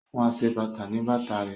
O fún aṣebàtà ní bàtà rẹ̀